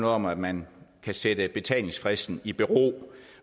om at man kan sætte betalingsfristen i bero